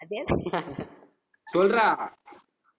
சொல்றா